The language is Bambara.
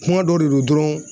Kuma dɔ de don dɔrɔn